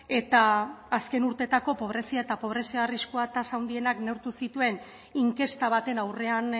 eta azken urteetako pobrezia eta pobrezia arriskua tasa handienak neurtu zituen inkesta baten aurrean